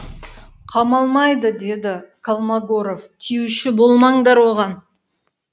қамалмайды деді колмогоров тиюші болмаңдар оған